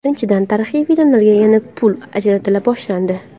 Birinchidan , tarixiy filmlarga yana pul ajratila boshlandi.